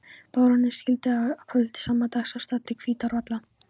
Baróninn sigldi að kvöldi sama dags af stað til Hvítárvalla.